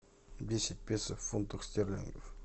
десять песо в фунтах стерлингов